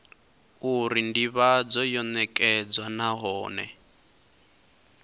uri ndivhadzo yo nekedzwa nahone